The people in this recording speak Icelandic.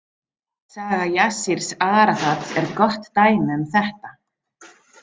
Saga Jassírs Arafats er gott dæmi um þetta.